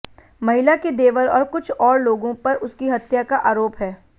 महिला के देवर और कुछ और लोगों पर उसकी हत्या का आरोप है